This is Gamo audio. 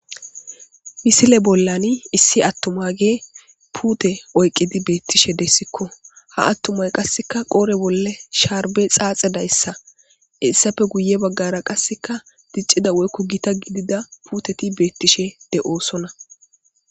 misile bollani issi attuma ge puute oyqqidi beettishe dessikko ha attumay qasseka qoore bolle sharbe xaaxe dayssa hesappe guye baggara qasseka diccida woykko gita gidida puuteti beettishe de'osonna